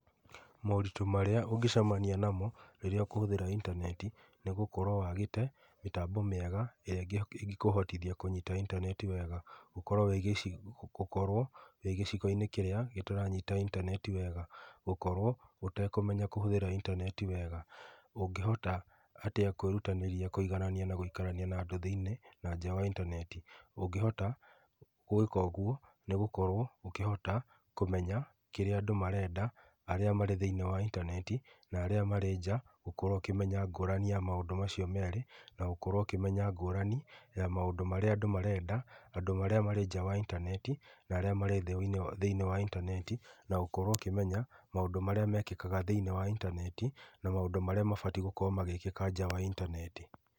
Moritũ marĩa ũngĩcemania namo rĩrĩa ũkũhũthĩra intaneti nĩ gũkorwo wagĩte mĩtambo mĩega ĩrĩa ĩngĩkũhotithia kũnyita intaneti wega, gũkorwo wĩ gĩcigo gĩtaranyita intaneti wega, gũkorwo ũtekũmenya kũhũthĩra intaneti wega, ũngĩhota atĩa kwĩrutanĩria kũiganania na gũikarania andũ atĩa thĩinĩ wa intaneti, ũngĩhota gwĩka ũguo nĩ ũkũhota kũmenya kĩrĩa andũ mareka arĩa marĩ thĩinĩ wa intaneti na arĩa marĩa nja, ũkorwo ũkĩmenya ngũrani ya maũndũ macio merĩ na gũkorwo ũkĩmenya ngũrani ya maũndũ marĩa andũ marenda, andũ arĩa marĩ nja wa intaneti na thĩini wa intaneti na gũkorwo ũkĩmenya maũndũ marĩa mekĩkaga thĩinĩ intaneti na maũndũ marĩa magĩrĩirwo nĩ gwĩkĩka nja wa intaneti.